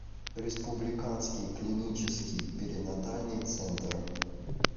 республиканский клинический перинатальный центр